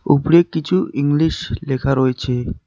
উপরে কিছু ইংলিশ লেখা রয়েছে।